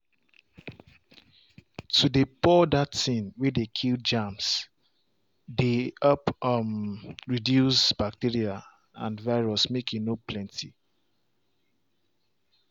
to dey pour that thing way dey kill germs dey help um reduce bacteria and virus make e no plenty.